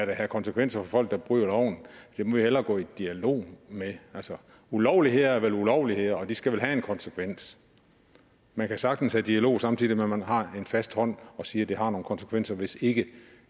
være konsekvenser for folk der bryder loven dem må vi hellere gå i dialog med altså ulovligheder er vel ulovligheder og de skal vel have en konsekvens man kan sagtens have dialog samtidig med at man har en fast hånd og siger at det har nogle konsekvenser hvis ikke